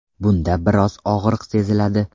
Bunda biroz og‘riq seziladi.